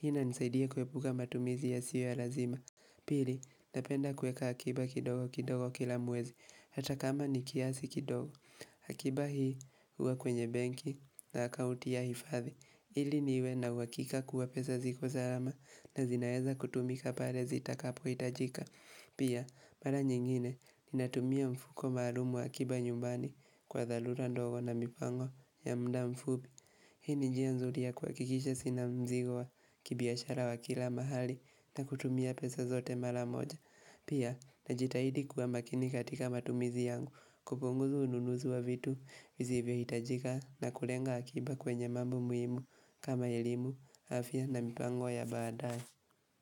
Hii inanisaidia kuepuka matumizi yasio ya lazima. Pili, napenda kueka akiba kidogo kidogo kila mwezi. Hata kama ni kiasi kidogo. Akiba hii huwa kwenye benki na akauti ya hifadhi. Ili niwe na uhakika kuwa pesa ziko salama na zinaeza kutumika pale zitakapo hitajika. Pia, mara nyingine ninatumia mfuko maalumu wa akiba nyumbani kwa dharura ndogo na mipango ya muda mfupi. Hii ni njia nzuri ya kuhakikisha sina mzigo wa kibiashara wa kila mahali na kutumia pesa zote mara moja. Pia, najitahidi kuwa makini katika matumizi yangu, kupunguza ununuzi wa vitu, vizivyohitajika na kulenga akiba kwenye mambo muhimu, kama elimu, afya na mipango ya baadaye.